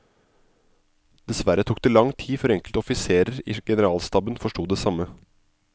Dessverre tok det lang tid før enkelte offiserer i generalstaben forsto det samme.